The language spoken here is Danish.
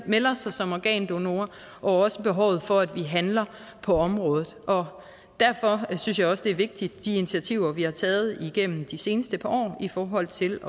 melder sig som organdonor og også behovet for at vi handler på området og derfor synes jeg også det er vigtigt de initiativer vi har taget igennem de seneste par år i forhold til